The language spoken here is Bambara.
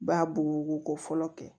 Ba bugubugu ko fɔlɔ kɛ